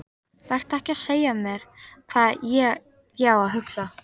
Vertu ekki að segja mér hvað ég á að hugsa!